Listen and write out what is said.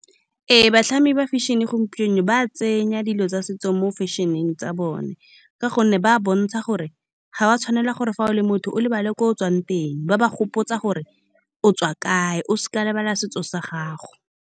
Ee, batlhami ba fashion-e gompieno ba tsenya dilo tsa setso mo fashion-eng tsa bone, ka gonne ba bontsha gore ga ba tshwanela gore fa o le motho o lebale kwa o tswang teng. Ba ba gopotsa gore o tswa kae, o seka wa lebala setso sa gago.